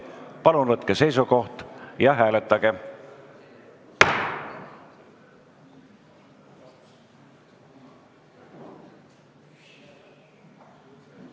Palun võtke seisukoht ja hääletage!